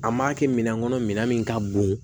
An m'a kɛ minɛn kɔnɔ minɛn min ka bon